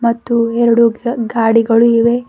ಮತ್ತು ಎರೆಡು ಗಿಡ ಗಾಡಿಗಳು ಇವೆ.